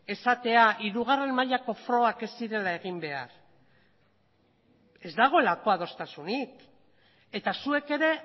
esatea hirugarren mailako frogak ez zirela egin behar ez dagoelako adostasunik eta zuek ere